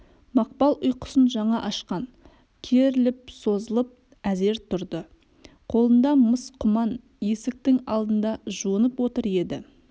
мақпал ұйқысын жаңа ашқан керіліп созылып әзер тұрды қолында мыс құман есіктің алдында жуынып отыр еді